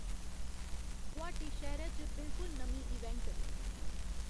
गुवाहाटी शैह्रै च बिलकुल नमीं इवेंट